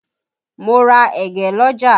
Mo ra ẹ̀gẹ́ l'ọ́jà